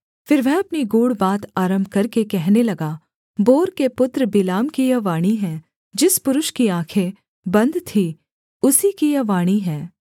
फिर वह अपनी गूढ़ बात आरम्भ करके कहने लगा बोर के पुत्र बिलाम की यह वाणी है जिस पुरुष की आँखें बन्द थीं उसी की यह वाणी है